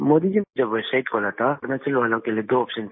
मोदी जी जब वेबसाइट खोला था तो अरुणाचल वालों के लिए दो आप्शन था